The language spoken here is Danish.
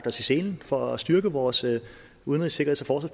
i selen for at styrke vores udenrigs sikkerheds og